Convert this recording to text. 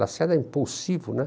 Lacerda é impulsivo, né?